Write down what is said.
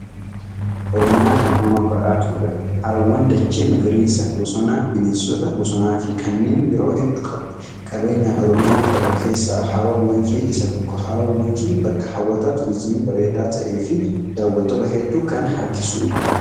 Oromiyaan uumamaan badhaatuudha. Haroowwan, dachee magariisa, bosona, bineensota bosonaa fi kanneen biroo hedduu qabdi. Qabeenya Oromiyaan qabdu keessaa haroon Wancii isa tokko. Haroon Wancii bakka hawwata turizimii bareedaa ta'e fi daawwattoota hedduu kan harkisudha.